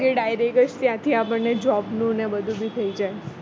એ direct ત્યાંથી આપણને job નું ને બધું બી થઈ જાય